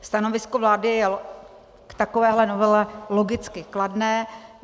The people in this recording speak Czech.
Stanovisko vlády je k takovéto novele logicky kladné.